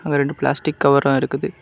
அங்க ரெண்டு பிளாஸ்டிக் கவரும் இருக்குது.